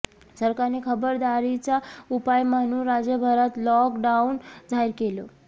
सरकारने खबरदारीचा उपाय म्हणून राज्यभरात लॉक डाऊन जाहीर केलं